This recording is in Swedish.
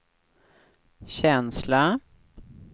känsla